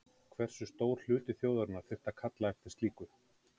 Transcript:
Hversu stór hluti þjóðarinnar þyrfti að kalla eftir slíku?